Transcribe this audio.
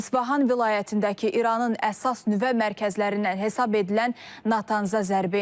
İsfahan vilayətindəki İranın əsas nüvə mərkəzlərindən hesab edilən Natanzə zərbə endirilib.